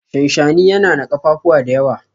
shanshani yana na kafafuwa da yawa